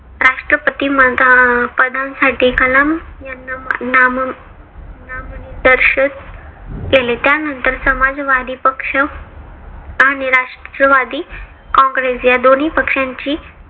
राष्ट्रपती पदांसाठी कलाम यांना नाम नामनिदर्श केले. त्यानंतर समाजवादी पक्ष आणि राष्ट्रवादी कॉंग्रेस या दोन्ही पक्षांची